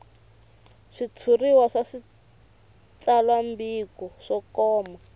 switshuriwa swa switsalwambiko swo koma